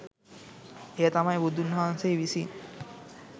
එය තමයි බුදුන් වහන්සේ විසින්